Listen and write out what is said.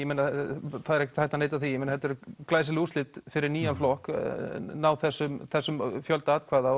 það er ekkert hægt að neita því að þetta eru glæsileg úrslit fyrir nýjan flokk að ná þessum þessum fjölda atkvæða